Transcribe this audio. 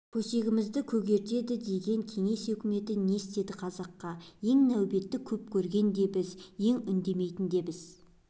көсегімізді көгертеді деген кеңес үкіметі не істеді қазаққа ең нәубетті көп көрген де біз ең үндемейтін де біз